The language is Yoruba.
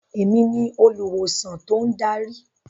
Èmi olùwòsàn tó ń darí.